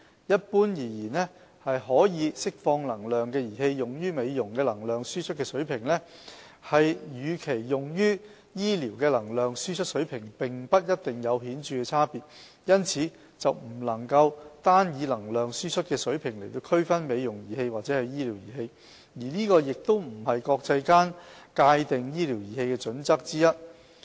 一般而言，可釋放能量的儀器用於美容的能量輸出水平，與其用於醫療的能量輸出水平並不一定有顯著差別，因此不能單以能量輸出水平來區分"美容儀器"或"醫療儀器"，而這亦不是國際間界定醫療儀器的準則之一。